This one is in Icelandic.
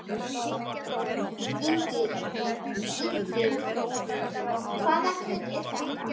Ingvi, hvaða kjöt er þetta?